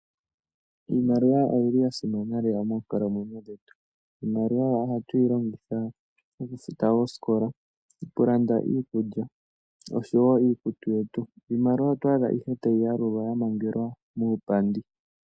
Iimaliwa oyi li ya simana lela moonkalamwenyo dhetu. Iimaliwa ohatu yi longitha okufuta oosikola, okulanda iikulya osho wo iikutu yetu. Iimaliwa oto adha ihe tayi yalulwa ya mangelwa muupandi.